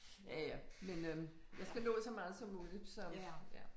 Ja ja men øh jeg skal nå så meget som muligt som ja